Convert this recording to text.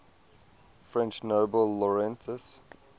french nobel laureates